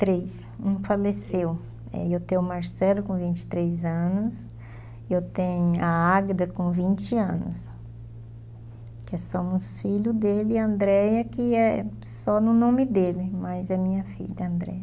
Três, um faleceu, três, é eu tenho o Marcelo com vinte e três anos, eu tenho a Águeda com vinte anos, que somos filho dele, e a Andréia que é só no nome dele, mas é minha filha, a Andréia.